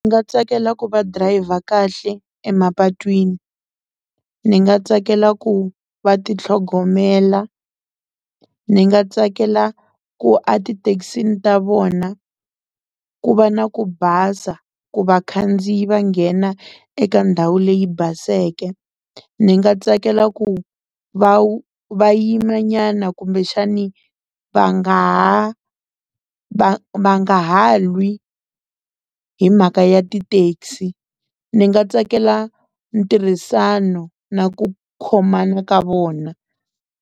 Ndzi nga tsakela ku va driver kahle emapatwini ni nga tsakela ku va ti tlhogomela ni nga tsakela ku a tithekisini ta vona ku va na ku basa ku vakhandziyi va nghena eka ndhawu leyi baseke ni nga tsakela ku va va yima nyana kumbexani va nga ha va va nga ha lwi hi mhaka ya ti-taxi ni nga tsakela ntirhisano na ku khomana ka vona.